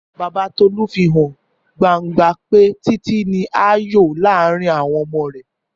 Bàbá Tólá fi hàn gbangba pé Títí ni àyò láàárín àwon omo rè